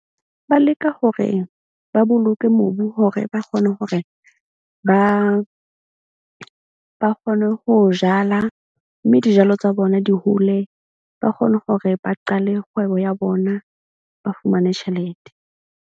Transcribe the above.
Ba leka hore ba boloke mobu hore ba kgone hore ba kgone ho jala. Mme dijalo tsa bona di hole, ba kgone hore ba qale kgwebo ya bona. Ba fumane tjhelete.